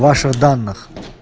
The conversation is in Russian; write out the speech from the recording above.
ваших данных